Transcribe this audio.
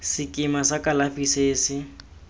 sekema sa kalafi se se